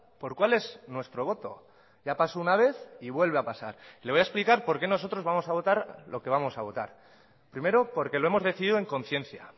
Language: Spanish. por cuál es nuestro voto ya pasó una vez y vuelve a pasar le voy a explicar por qué nosotros vamos a votar lo que vamos a votar primero porque lo hemos decidido en conciencia